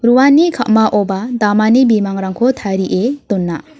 uani ka·maoba damani bimangrangko tarie dona.